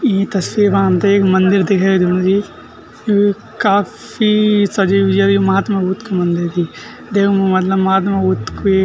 ई तस्वीर मा हमथे एक मंदिर दिखे दिणु जी यु काफी सजयु ये महात्मा बुद्ध का मंदिर चि देवों मतलब महात्मा बुद्ध कुई।